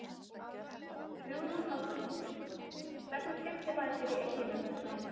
Hugrún Halldórsdóttir: Hvernig skemmtir maður sér í Eyjum um þessa helgi?